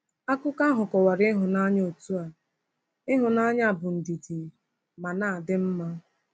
Akụkọ ahụ kọwara ịhụnanya otú a: “Ịhụnanya bụ ndidi ma na-adị mma.”